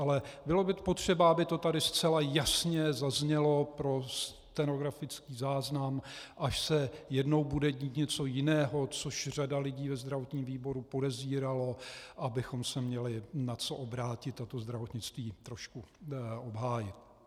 Ale bylo by potřeba, aby to tady zcela jasně zaznělo pro stenografický záznam, až se jednou bude dít něco jiného, což řada lidí ve zdravotním výboru podezírala, abychom se měli na co obrátit a to zdravotnictví trošku obhájit.